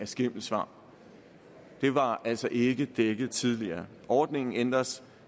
skimmelsvamp det var altså ikke dækket tidligere ordningen ændres